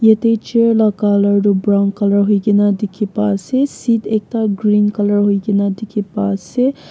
jatte chair laga colour tu brown colour hoi kina dekhi pa ase seat ekta green colour hoike ni dekhi pa ase.